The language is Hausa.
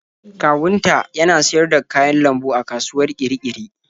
Kawunta yana siyar da kayan lambu a kasuwar Kirikiri.